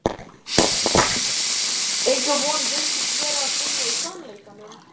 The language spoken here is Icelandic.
Enga von virtist vera að finna í sannleikanum.